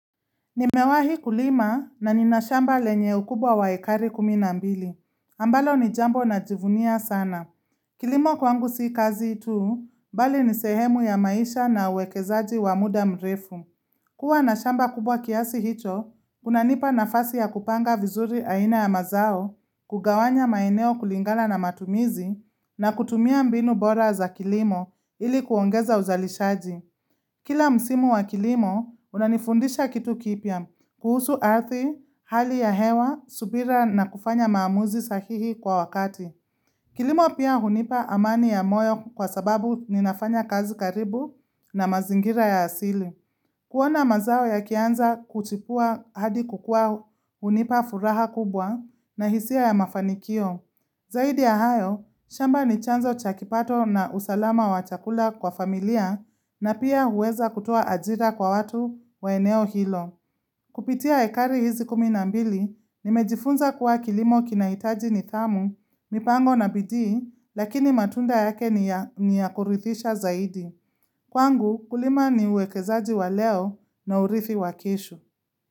Nimewahi kulima na nina shamba lenye ukubwa wa ekari kumi na mbili. Ambalo ni jambo najivunia sana. Kilimo kwangu si kazi tu, bali ni sehemu ya maisha na uwekezaji wa muda mrefu. Kuwa na shamba kubwa kiasi hicho, kunanipa nafasi ya kupanga vizuri aina ya mazao, kugawanya maeneo kulingala na matumizi, na kutumia mbinu bora za kilimo ili kuongeza uzalishaji. Kila msimu wa kilimo, unanifundisha kitu kipya, kuhusu arthi, hali ya hewa, subira na kufanya maamuzi sahihi kwa wakati. Kilimo pia hunipa amani ya moyo kwa sababu ninafanya kazi karibu na mazingira ya asili. Kuona mazao yakianza kuchipua hadi kukua hunipa furaha kubwa na hisia ya mafanikio. Zaidi ya hayo, shamba ni chanzo cha kipato na usalama wa chakula kwa familia na pia huweza kutoa ajira kwa watu wa eneo hilo. Kupitia ekari hizi kumi na mbili, nimejifunza kuwa kilimo kinaitaji nidhamu, mipango na bidii, lakini matunda yake ni ya kuridhisha zaidi. Kwangu kulima ni uwekezaji wa leo na urithi wa kisho.